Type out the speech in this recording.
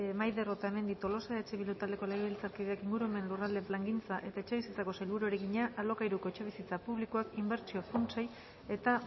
maider otamendi tolosa eh bildu taldeko legebiltzarkideak ingurumen lurralde plangintza eta etxebizitzako sailburuari egina alokairuko etxebizitza publikoak inbertsio funtsei eta